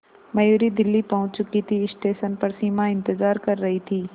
मयूरी दिल्ली पहुंच चुकी थी स्टेशन पर सिमा इंतेज़ार कर रही थी